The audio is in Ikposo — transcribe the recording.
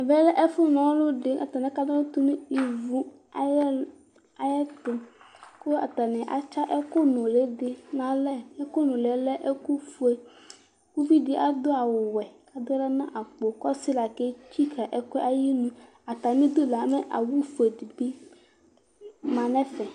ɛmɛ lɛ nalʊdɩ atanɩ aka na ɔlʊ nʊ ivu ayɛtʊ, kʊ atnɩ atsa ɛkʊ nʊlɩ dɩ nalɛ, ɛkʊ nuli yɛ lɛ ɛkʊfue, uvidɩ adʊ awuwɛ, adʊ aɣla nʊ akpo kʊ ɔsɩ la ketsikǝ ɛkʊ yɛ ayinu, atamidu la mɛ awu fue dɩ bɩ lɛ nʊ ɛfɛ